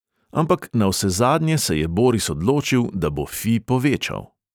Ampak navsezadnje se je boris odločil, da bo fi povečal.